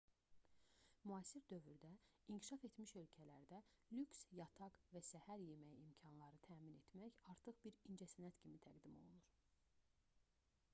müasir dövrdə inkişaf etmiş ölkələrdə lüks yataq və səhər yeməyi imkanları təmin etmək artıq bir incəsənət kimi təqdim olunur